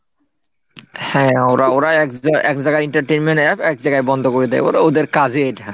হ্যাঁ ওরা ওরা এক জায়গায় এক জায়গায় entertainment APP এক জায়গায় বন্ধ করে দেয় ওরা ওদের কাজই এটা।